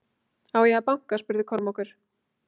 Á ég að banka spurði Kormákur.